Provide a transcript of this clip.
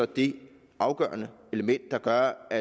det afgørende element der gør at